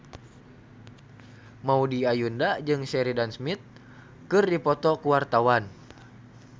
Maudy Ayunda jeung Sheridan Smith keur dipoto ku wartawan